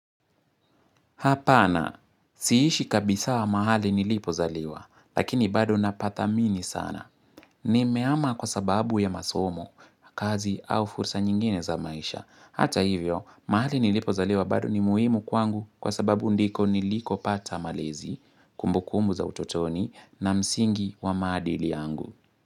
Hapana, siishi kabisa mahali nilipo zaliwa, lakini bado napathamini sana. Ni meama kwa sababu ya masomo, kazi au fursa nyingine za maisha. Hata hivyo, mahali nilipo zaliwa bado ni muhimu kwangu kwa sababu ndiko niliko pata malezi, kumbukumbu za utotoni na msingi wa maadili yangu.